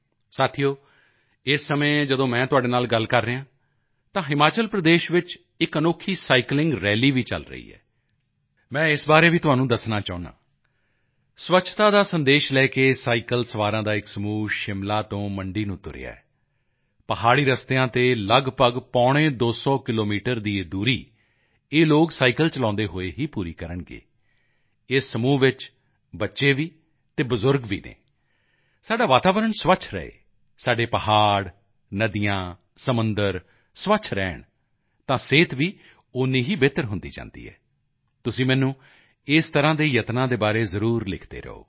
ਸਾਥੀਓ ਇਸ ਸਮੇਂ ਜਦੋਂ ਮੈਂ ਤੁਹਾਡੇ ਨਾਲ ਗੱਲ ਕਰ ਰਿਹਾ ਹਾਂ ਤਾਂ ਹਿਮਾਚਲ ਪ੍ਰਦੇਸ਼ ਵਿੱਚ ਇੱਕ ਅਨੋਖੀ ਸਾਈਕਲਿੰਗ ਰੈਲੀ ਵੀ ਚਲ ਰਹੀ ਹੈ ਮੈਂ ਇਸ ਬਾਰੇ ਵੀ ਤੁਹਾਨੂੰ ਦੱਸਣਾ ਚਾਹੁੰਦਾ ਹਾਂ ਸਵੱਛਤਾ ਦਾ ਸੰਦੇਸ਼ ਲੈ ਕੇ ਸਾਈਕਲ ਸਵਾਰਾਂ ਦਾ ਇੱਕ ਸਮੂਹ ਸ਼ਿਮਲਾ ਤੋਂ ਮੰਡੀ ਨੂੰ ਤੁਰਿਆ ਹੈ ਪਹਾੜੀ ਰਸਤਿਆਂ ਤੇ ਲਗਭਗ ਪੌਣੇ ਦੋ ਸੌ ਕਿਲੋਮੀਟਰ ਦੀ ਇਹ ਦੂਰੀ ਇਹ ਲੋਕ ਸਾਈਕਲ ਚਲਾਉਂਦੇ ਹੋਏ ਹੀ ਪੂਰੀ ਕਰਨਗੇ ਇਸ ਸਮੂਹ ਵਿੱਚ ਬੱਚੇ ਵੀ ਅਤੇ ਬਜ਼ੁਰਗ ਵੀ ਹਨ ਸਾਡਾ ਵਾਤਾਵਰਣ ਸਵੱਛ ਰਹੇ ਸਾਡੇ ਪਹਾੜ ਨਦੀਆਂ ਸਮੁੰਦਰ ਸਵੱਛ ਰਹਿਣ ਤਾਂ ਸਿਹਤ ਵੀ ਓਨੀ ਹੀ ਬਿਹਤਰ ਹੁੰਦੀ ਜਾਂਦੀ ਹੈ ਤੁਸੀਂ ਮੈਨੂੰ ਇਸ ਤਰ੍ਹਾਂ ਦੇ ਯਤਨਾਂ ਦੇ ਬਾਰੇ ਜ਼ਰੂਰ ਲਿਖਦੇ ਰਹੋ